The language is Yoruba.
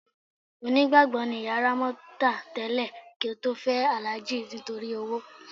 Onígbàgbọ́ ni ìyá Rámọ́tà tẹ́lẹ̀ kí ó tó fẹ́ Alhaji nítorí owó.